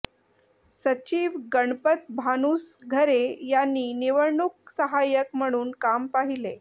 सचिव गणपत भानुसघरे यांनी निवडणूक सहाय्यक म्हणून काम पाहिले